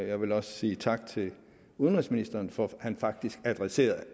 jeg vil også sige tak til udenrigsministeren for at han faktisk adresserede